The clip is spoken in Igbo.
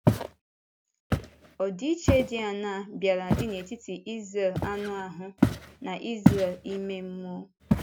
Ọdịiche dị áńaa bịara dị n’etiti Ísréel anụ ahụ na Ísréel ime mmụọ?